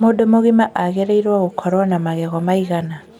Mũndũ mũgima agĩrĩiruo gũkorwo na magego maigana?